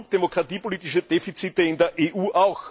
Es gibt genug demokratiepolitische Defizite auch in der EU.